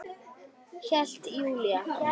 Hélt Júlía.